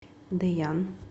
дэян